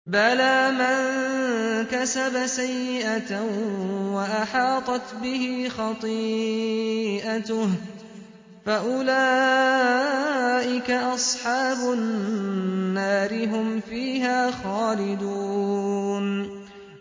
بَلَىٰ مَن كَسَبَ سَيِّئَةً وَأَحَاطَتْ بِهِ خَطِيئَتُهُ فَأُولَٰئِكَ أَصْحَابُ النَّارِ ۖ هُمْ فِيهَا خَالِدُونَ